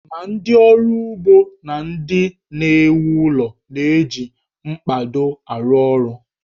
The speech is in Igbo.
Ma ndị ọrụ ugbo na ndị na-ewu ụlọ na-eji mkpado arụ ọrụ